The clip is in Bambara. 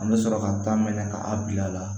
An bɛ sɔrɔ ka taa minɛ ka a bila la